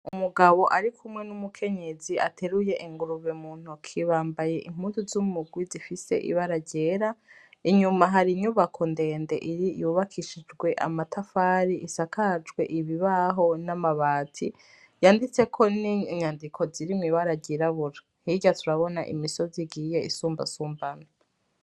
Umugabo ari kumwe n'umukenyezi ateruye ingurube mu ntoki bambaye impuzu zu murwi zifise ibara tyera inyuma hari inyubako ndende yubakishijwe amatafari isakajwe ibibaho n'amabati yanditseko n'inyandiko ziri mw'ibara ryirabura hirya turabona imisozi igiye isumba sumbana.